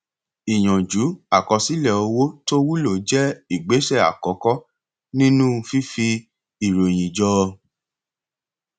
ìyànjú àkọsílẹ owó tó wúlò jẹ igbésẹ àkọkọ nínú fífi ìròyìn jọ